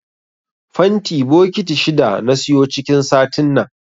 Fanti bokiti shida na siyo cikin satin nan.